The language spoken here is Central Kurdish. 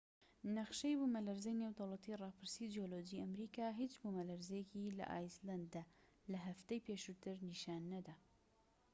نەخشەی بوومەلەرزەی نێودەوڵەتی ڕاپرسی جیۆلۆجی ئەمریکا هیچ بوومەلەرزەیەکی لە ئایسلەندە لە هەفتەی پێشووتر نیشان نەدا